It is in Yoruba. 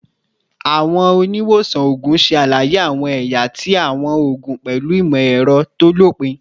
Awọn oniwosan oogun ṣe alaye awọn ẹya ti awọn oogun pẹlu imọ-ẹrọ to lopin